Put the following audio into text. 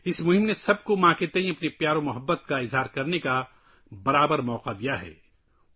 اس مہم نے سب کو اپنی ماں کے تئیں اپنے پیار کا اظہار کرنے کا یکساں موقع فراہم کیا ہے